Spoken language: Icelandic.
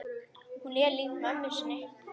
Hún er lík mömmu sinni.